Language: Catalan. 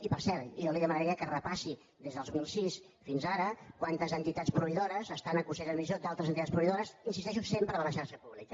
i per cert jo li demanaria que repassés des del dos mil sis fins ara quantes entitats proveïdores estan a consells d’administració d’altres entitats proveïdores hi insisteixo sempre de la xarxa pública